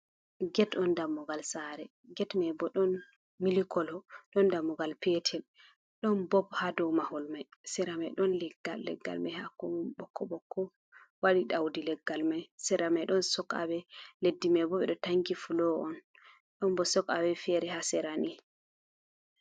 Get on dammugal sare get mai bo ɗon mili kolo, ɗon dammugal petel, ɗon bob ha dow mahol mai, seramai ɗon leggal, leggal mai hako ɓokko ɓokko waɗi ɗaudi, leggal mai seramai ɗon sok awe leddi mai bo ɓeɗo tanki fulo on, ɗon bo sok awe fere ha serani.